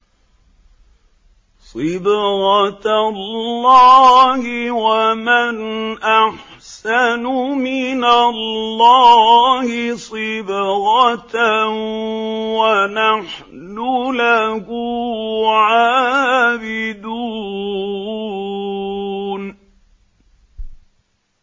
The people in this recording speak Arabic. صِبْغَةَ اللَّهِ ۖ وَمَنْ أَحْسَنُ مِنَ اللَّهِ صِبْغَةً ۖ وَنَحْنُ لَهُ عَابِدُونَ